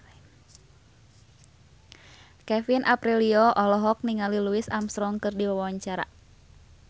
Kevin Aprilio olohok ningali Louis Armstrong keur diwawancara